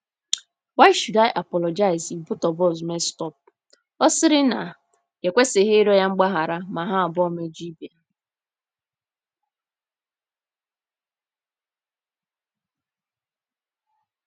n, why should I apologize if both of us messed up? ” Ọ sịrị na ya ekwesịghị ịrịọ ya mgbaghara ma ha abụọ mejọọ ibe ha.